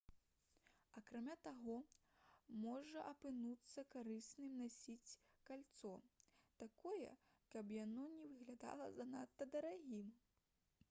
акрамя таго можа апынуцца карысным насіць кальцо такое каб яно не выглядала занадта дарагім